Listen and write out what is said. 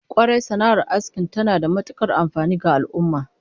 Kwarai, sana'ar asking tana da matukar amfani ga al'ummah